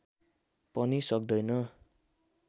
पनि सक्दैन